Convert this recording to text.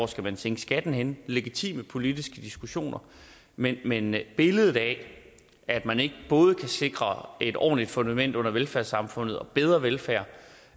skal sænke skatten legitime politiske diskussioner men men billedet af at man ikke både kan sikre et ordentligt fundament under velfærdssamfundet og bedre velfærd